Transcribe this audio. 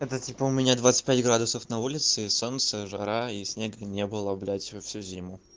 это типа у меня двадцать пять градусов на улице и солнце жара и снега не было блять всю всю зиму